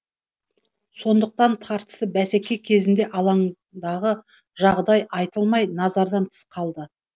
сондықтан тартысты бәсеке кезінде алаңдағы жағдай айтылмай назардан тыс қалады